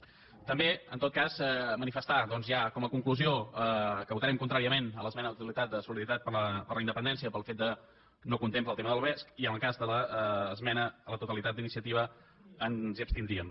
també en tot cas manifestar doncs ja com a conclusió que votarem contràriament l’esmena a la totalitat de solidaritat per la independència pel fet que no contempla el tema del vesc i en el cas de l’esmena a la totalitat d’iniciativa ens hi abstindríem